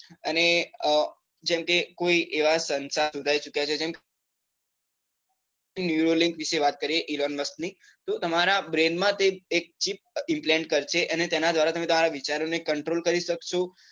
અને અ જેમ કે કોઈ એવા સંશાધન શોધાએ ચુક્યા છે જેમ કે nearly વિષે વાત કરીએ એલન મસક ની તો તમારા brain માં તે એક chip કરશે અને તેના ધ્વારા તમે તમારા વિચારો ને control કરી શકશો